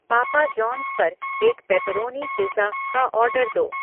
पापा जॉन्स पर एक पेप्पेरोनी पिज़्ज़ा का आर्डर दो